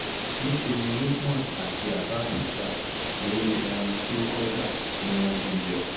níṣẹ́ ni lukman àti abab ń jà lórí ẹran tí ọkọ̀ gbà tí wọ́n dín jẹ